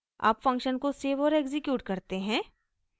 अब फंक्शन को सेव और एक्सिक्यूट करते हैं